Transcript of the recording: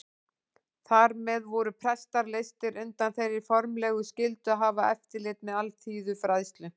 Þar með voru prestar leystir undan þeirri formlegu skyldu að hafa eftirlit með alþýðufræðslu.